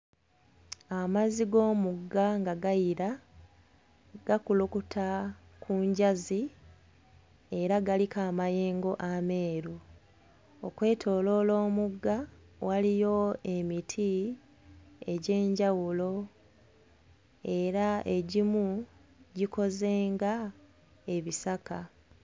Amazzi g'omugga nga gayira. Gakulukuta ku njazi era galiko amayengo ameeru. Okwetooloola omugga, waliyo emiti egyenjawulo era egimu gikoze ng'ebisaka.